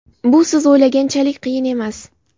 Bu siz o‘ylaganchalik qiyin emas.